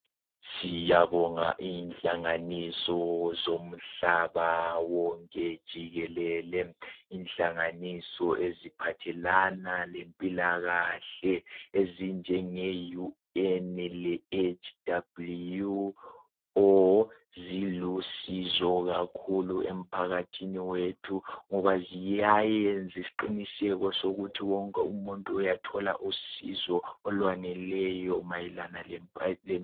Siyabonga inhlanganiso zomhlaba wonke jikelele. Inhlanganiso eziphathelana lempilakahle ezinjenge UN le WHO zilusizo kakhulu emphakathini wethu ngoba ziyayenza isiqiniseko sokuthi wonke umuntu uyathola usizo olwaneleyo mayelana lempa.